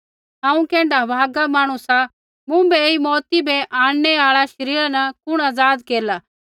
हांऊँ कैण्ढा अभागा मांहणु सा मुँभै ऐई मौऊती बै आंणनै आल़ै शरीरा न कुण आज़ाद केरला